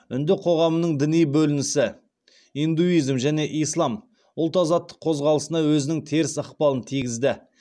үнді қоғамының діни бөлінісі ұлт азаттық қозғалысына өзінің теріс ықпалын тигізді